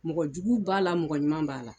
Mɔgɔ jugu b'a la mɔgɔ ɲuman b'a la